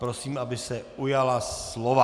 Prosím, aby se ujala slova.